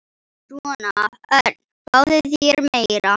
Svona, Örn, fáðu þér meira.